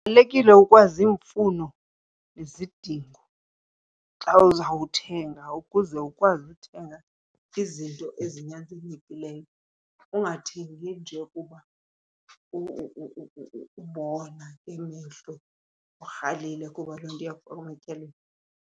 Kubalulekile ukwazi iimfuno nezidingo xa uzawuthenga ukuze ukwazi uthenga izinto ezinyanzelekileyo ungathengi nje kuba ubona imehlo urhalile, kuba loo nto iya kufaka ematyaleni.